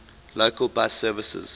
local bus services